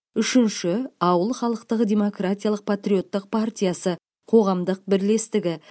үшінші ауыл халықтық демократиялық патриоттық партиясы қоғамдық бірлестігі